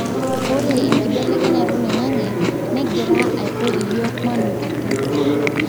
ore enkibelekenyata oloingange neigira aiko iyiok manotito